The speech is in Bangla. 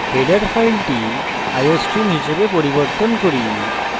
header file iostream হিসাবে পরিবর্তন করি